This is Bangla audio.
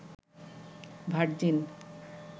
ভার্জিন